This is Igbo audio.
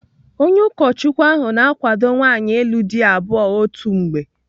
Onye ụkọchukwu ahụ na-akwado nwaanyị ịlụ di abụọ otu mgbe.